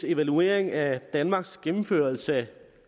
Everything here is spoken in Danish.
evaluering af danmarks gennemførelse